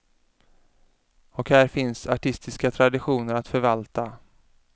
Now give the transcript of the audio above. Och här finns artistiska traditioner att förvalta.